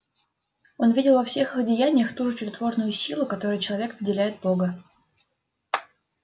он видел во всех их деяниях ту же чудотворную силу которой человек наделяет бога